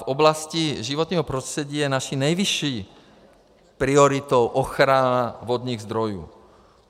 V oblasti životního prostředí je naší nejvyšší prioritou ochrana vodních zdrojů.